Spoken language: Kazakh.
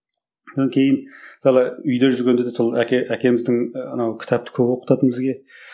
кейін мысалы үйде жүргенде де сол әке әкеміздің анау кітапты көп оқытатын бізге